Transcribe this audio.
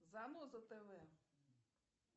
заноза тв